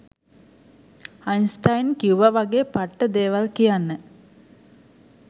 Einstein කිව්ව වගේ පට්ට දේවල් කියන්න